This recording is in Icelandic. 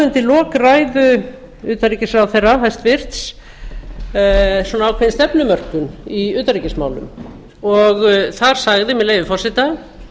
undir lok ræðu hæstvirts utanríkisráðherra kom fram ákveðin stefnumörkun í utanríkismálum og þar sagði með leyfi forseta